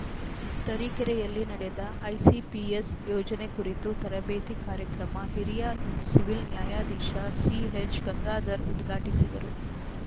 ತರೀಕೆರೆಯಲ್ಲಿ ನಡೆದ ಐಸಿಪಿಎಸ್‌ ಯೋಜನೆ ಕುರಿತು ತರಬೇತಿ ಕಾರ್ಯಕ್ರಮ ಹಿರಿಯ ಸಿವಿಲ್‌ ನ್ಯಾಯಾಧೀಶ ಸಿಎಚ್‌ ಗಂಗಾಧರ್‌ ಉದ್ಘಾಟಿಸಿದರು